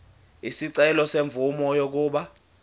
isicelo semvume yokuba